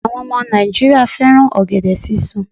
Àwọn ọmọ Nàìjíríà fẹ́ràn ọ̀gẹ̀dẹ̀ sísun